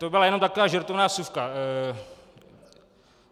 To byla jenom taková žertovná vsuvka.